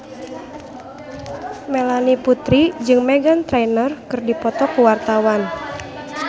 Melanie Putri jeung Meghan Trainor keur dipoto ku wartawan